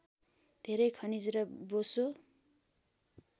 धेरै खनिज र बोसो